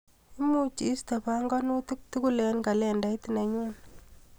Imuch iiste panganitik tukul eng kalendait nenyuu.